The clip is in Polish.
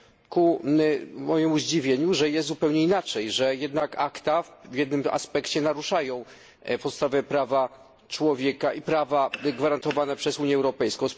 ku mojemu zdziwieniu, że jest zupełnie inaczej, że jednak ACTA w jednym aspekcie naruszają podstawowe prawa człowieka i prawa gwarantowane przez Unię Europejską.